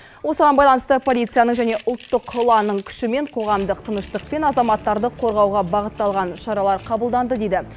осыған байланысты полицияның және ұлттық ұланның күшімен қоғамдық тыныштық пен азаматтарды қорғауға бағытталған шаралар қабылданды дейді